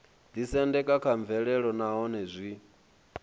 ḓisendeka kha mvelelo nahone zwi